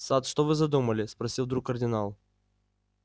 сатт что вы задумали спросил вдруг кардинал